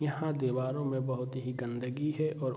यहाँ दीवारों में बहोत ही गंदगी है और --